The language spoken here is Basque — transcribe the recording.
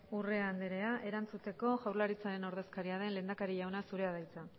urrea andrea erantzuteko jaurlaritzaren ordezkaria den lehendakari jauna zurea da hitza